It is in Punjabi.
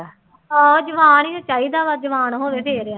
ਆਹੋ ਜਵਾਨ ਹੀ ਚਾਹੀਦਾ ਵਾ ਜਵਾਨ ਹੋਵੇ ਫਿਰ ਆ।